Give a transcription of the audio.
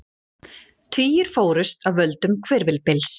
Tugir fórust af völdum hvirfilbyls